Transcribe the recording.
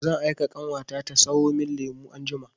Zan aika ƙanwata ta sayo min lemu anjima.